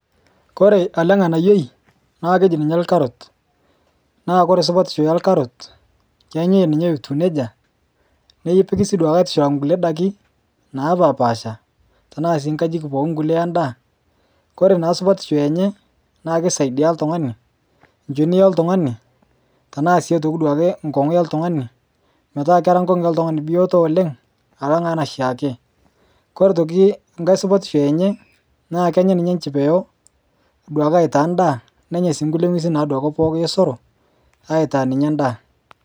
Koree elenganayioi nakeji orkarot na ore esupatisho orkarot na kenyae ninye etiu nejia nepikisi nkulie dakin napashpasha kulie enda kore na supatisho enye na kisaidia oltungani tanaa nkongu oltungani metaaketaa ngongu oltungani bioto oleng alang enaake, oito aitoki enkae supatisho enye na kenyai aitaa ndaa nenya si nkulie ngwesin aosero aitaa ninye endaa.